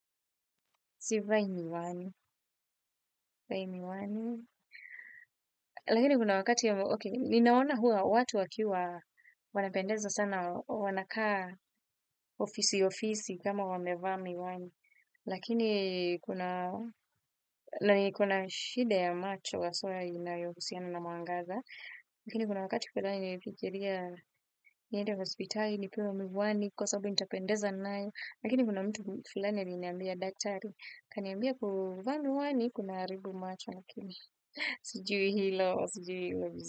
Sivai mi wani, vai mi wani. Lakini kuna wakati ya, okey, ninaona huwa watu wakiwa wanapendeza sana, wanakaa ofisi ofisi kama wamevaa mi wani. Lakini kuna, nani kona shida ya macho haswa inayohusiana na mwangaza. Lakini kuna wakati baadae nilifikiria, niende hospitali, nipewe miwani, kwa sababu nitapendeza nayo. Lakini kuna mtu fulani aliniambia daktari, kaniambia kuvaa miwani, kunaharibu macho. Sijui hilo sjui hilo vizuri.